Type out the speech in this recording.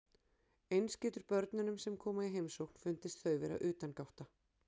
Eins getur börnunum sem koma í heimsókn fundist þau vera utangátta.